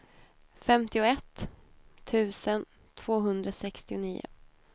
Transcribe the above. femtioett tusen tvåhundrasextionio